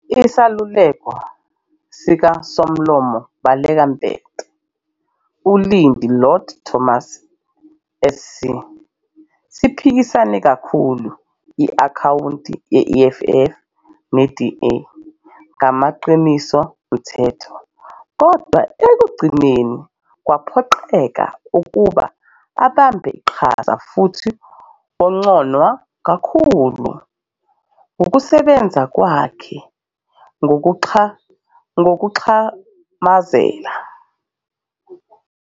Iseluleko sikaSomlomo Baleka Mbete, uLindi Lord-Thomas SC, siphikise kakhulu i-akhawunti ye-EFF ne-DA ngamaqiniso nomthetho, kodwa ekugcineni waphoqeleka ukuba abambe iqhaza futhi wagconwa kakhulu ngokusebenza kwakhe "ngokuxhamazela".